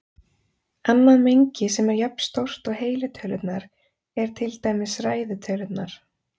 Annað mengi sem er jafnstórt og heilu tölurnar er til dæmis ræðu tölurnar.